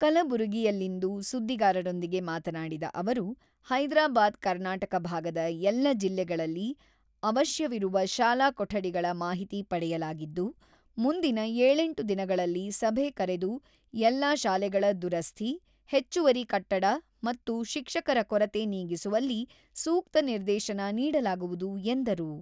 ಕಲಬುರಗಿಯಲ್ಲಿಂದು ಸುದ್ದಿಗಾರರೊಂದಿಗೆ ಮಾತನಾಡಿದ ಅವರು, ಹೈದರಾಬಾದ್ ಕರ್ನಾಟಕ ಭಾಗದ ಎಲ್ಲ ಜಿಲ್ಲೆಗಳಲ್ಲಿ ಅವಶ್ಯವಿರುವ ಶಾಲಾ ಕೊಠಡಿಗಳ ಮಾಹಿತಿ ಪಡೆಯಲಾಗಿದ್ದು, ಮುಂದಿನ ಏಳೆಂಟು ದಿನಗಳಲ್ಲಿ ಸಭೆ ಕರೆದು ಎಲ್ಲ ಶಾಲೆಗಳ ದುರಸ್ಥಿ, ಹೆಚ್ಚುವರಿ ಕಟ್ಟಡ ಮತ್ತು ಶಿಕ್ಷಕರ ಕೊರತೆ ನೀಗಿಸುವಲ್ಲಿ ಸೂಕ್ತ ನಿರ್ದೇಶನ ನೀಡಲಾಗುವುದು ಎಂದರು.